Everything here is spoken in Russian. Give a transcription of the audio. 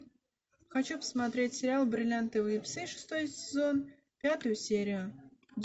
хочу посмотреть сериал бриллиантовые псы шестой сезон пятую серию